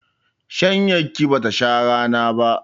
Shanyar ki bata sha rana ba.